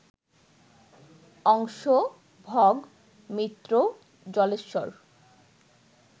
অংশ, ভগ, মিত্র, জলেশ্বর